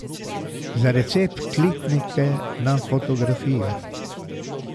Za recept kliknite na fotografijo.